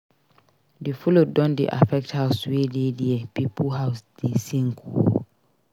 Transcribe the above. Di flood don dey affect house wey dey there pipo house dey sink o.